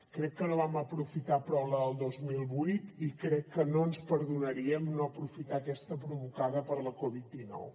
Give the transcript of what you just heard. crec que no vam aprofitar prou la del dos mil vuit i crec que no ens perdonaríem no aprofitar aquesta provocada per la covid dinou